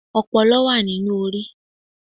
ọpọlọ wa ní inú orí